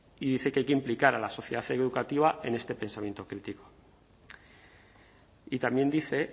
y dice que hay que implicar a la sociedad educativa en este pensamiento crítico y también dice